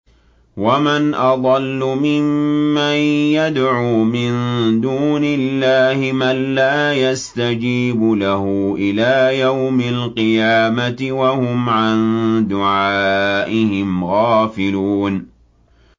وَمَنْ أَضَلُّ مِمَّن يَدْعُو مِن دُونِ اللَّهِ مَن لَّا يَسْتَجِيبُ لَهُ إِلَىٰ يَوْمِ الْقِيَامَةِ وَهُمْ عَن دُعَائِهِمْ غَافِلُونَ